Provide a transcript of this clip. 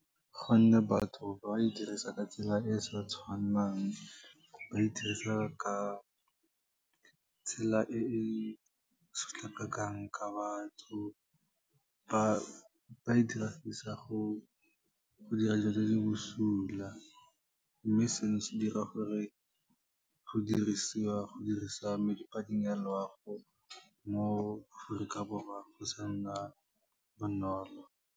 Gonne batho ba e dirisa ka tsela e e sa tshwannang, ba e dirisa ka tsela e e sotlakakang ka batho, ba e diragisa go dira dilo di le bosula, mme seno se dira gore go dirisa medi a loago, mo Aforika Borwa go sa nna bonolo.